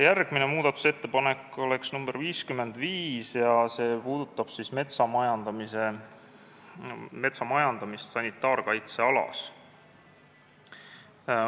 Järgmine muudatusettepanek on nr 55 ja see puudutab metsa majandamist sanitaarkaitsealas.